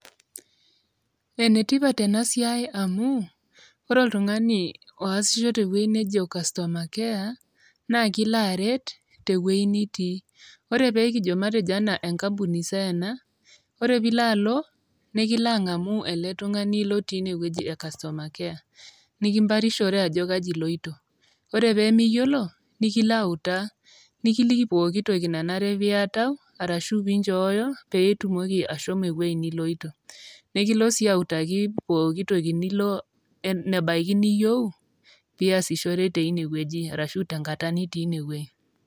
enetipat ena siai amu ore oltung'ani oasisho tewueji nejo customer care naa kilo aret tewueji nitii ore pekijo matejo anaa enkampuni sai ena ore piilo alo nikilo ang'amu ele tung'ani lotii inewueji e customer care nikimparishore ajo kaji iloito ore pemiyiolo nikilo autaa nikiliki pokitoki nanare piatau arashu pinchooyo pee itumoki ashomo ewueji niloito nekilo sii autaki pokitoki nilo enebaiki niyieu piasishore teine wueji arashu tenkata nitii ine wuji.